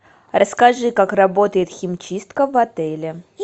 расскажи как работает химчистка в отеле